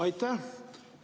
Aitäh!